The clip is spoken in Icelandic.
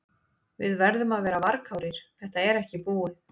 Við verðum að vera varkárir, þetta er ekki búið.